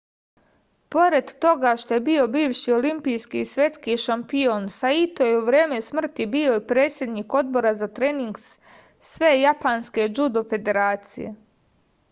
pored toga što je bio bivši olimpijski i svetski šampion saito je u vreme smrti bio i predsednik odbora za trening svejapanske džudo federacije